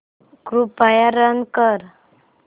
कृपया रन कर